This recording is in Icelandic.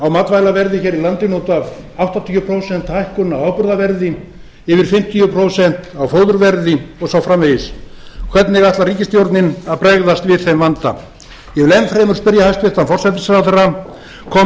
á matvælaverði hér í landinu út af áttatíu prósent hækkun á áburðarverði yfir fimmtíu prósent á fóðurverði og svo framvegis hvernig ætlar ríkisstjórnin að bregðast við þeim vanda ég vil enn fremur spyrja hæstvirtan forsætisráðherra kom